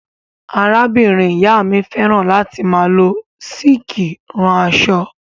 Arábìnrin-ìyá mi fẹ́ràn láti máa lọ sííkì rán aṣọ.